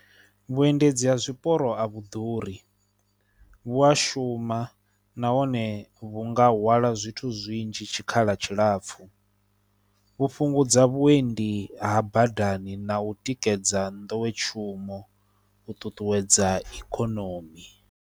Vhuendedzi ha zwiporo a vhu ḓuri, vhu a shuma nahone vhu nga hwala zwithu zwinzhi tshikhala tshilapfhu, vhu fhungudza vhuendi ha badani na u tikedza nḓowetshumo, u ṱuṱuwedza ikonomi.